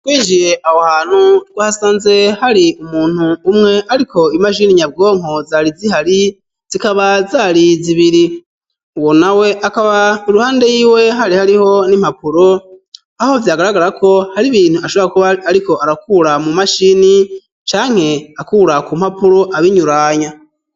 Twijiye aho hantu twasanze hari umuntu umwe ariko imashini nyabwonko zari zihari zikaba zari zibiri uwo nawe akaba iruhande yiwe hari hariho n'impapuro aho vyagaragara ko hari ibintu ashobora kuba ariko arakura mu mashini canke akura ku mpapuro abinyuranya